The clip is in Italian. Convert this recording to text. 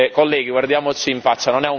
Colleghi, guardiamoci in faccia.